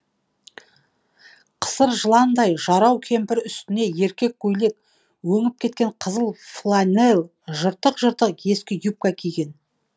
қысыр жыландай жарау кемпір үстіне еркек көйлек өңіп кеткен қызыл фланель жыртық жыртық ескі юбка киген